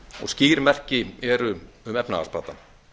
og skýr merki eru um efnahagsbata